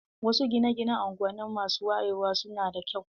Wasu gine-gine a unguwanni masu wayewa su na da kyau.